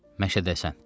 Məşədəsən.